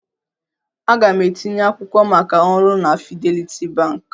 Aga m etinye akwụkwọ maka ọrụ na Fidelity Bank.